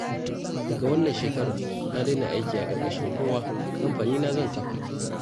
Daga wannan shekarar na daina aiki a ƙarƙashin kowa, kamfanina zan kafa